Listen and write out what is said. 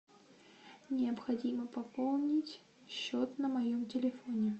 необходимо пополнить счет на моем телефоне